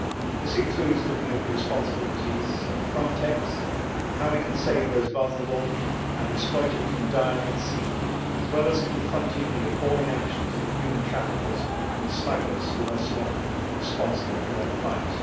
This includes looking at the responsibilities of Frontex and how we can save those vulnerable and exploited from dying at sea, as well as confronting the appalling actions of the human traffickers and smugglers who are so often responsible for their plight.